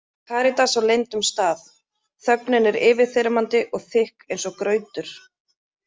KARÍTAS Á LEYNDUM STAÐ Þögnin er yfirþyrmandi og þykk eins og grautur!